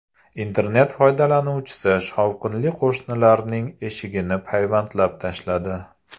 Internet foydalanuvchisi shovqinli qo‘shnilarining eshigini payvandlab tashladi.